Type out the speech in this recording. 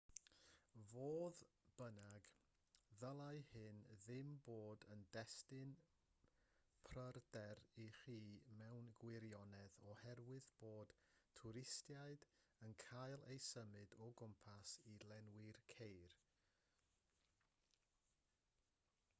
fodd bynnag ddylai hyn ddim bod yn destun pryder i chi mewn gwirionedd oherwydd bod twristiaid yn cael eu symud o gwmpas i lenwi'r ceir